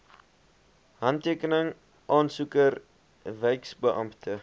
handtekeninge aansoeker wyksbeampte